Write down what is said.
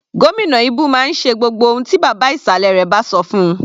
Gómìnà Ibu máa ń ṣe gbogbo ohun tí bàbá ìsàlẹ̀ rẹ̀ bá sọ fún-un.